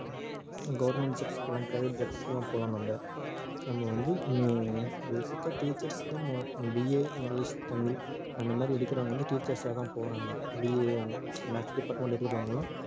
government jobs போலாம் private jobs க்கு எல்லாம் போலாம் நம்ம நம்ம வந்து ஆஹ் basic ஆ teachers தான் mo~ BA english தமிழ் அந்த மாதிரி எடுக்கிறவங்க வந்து teachers ஆ தான் போறாங்க BA maths department எடுக்கிறவங்க எல்லாம்